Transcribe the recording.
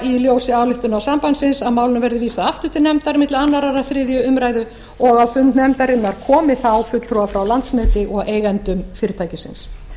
í ljósi ályktunar sambandsins að málinu verði vísað aftur til nefndar milli annars og þriðju umræðu og á fund nefndarinnar komi þá fulltrúar frá landsneti og eigendum fyrirtækisins